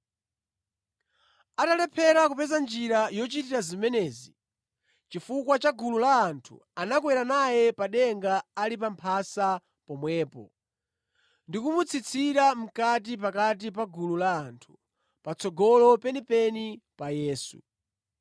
Atalephera kupeza njira yochitira zimenezi chifukwa cha gulu la anthu, anakwera naye pa denga ali pa mphasa pomwepo ndi kumutsitsira mʼkati pakati pa gulu la anthu, patsogolo penipeni pa Yesu.